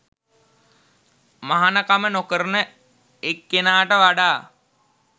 මහණකම නොකරන එක්කෙනාට වඩා